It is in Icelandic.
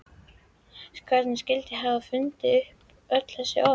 Hver skyldi hafa fundið upp öll þessi orð?